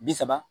Bi saba